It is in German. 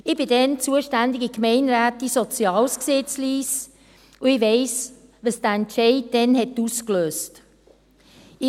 Ich war damals zuständige Gemeinderätin Soziales in Lyss, und ich weiss, was der damalige Entscheid ausgelöst hat.